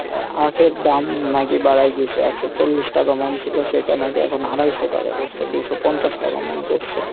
আখের দাম নাকি বাড়ায় দিসে একশো চল্লিশ টাকা এটা নাকি এখন আড়াইশো টাকা পরসে দুইশো পঞ্চাশ টাকা মূল করসে।